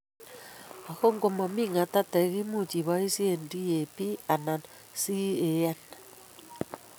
Ago ngo mami ng'atateek imuuchi iboisye DAP anan CAN